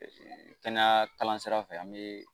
Kɛnɛya kalan sira fɛ an bee